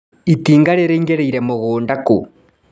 Itinga rĩraingĩrĩire mũgũnda kũ.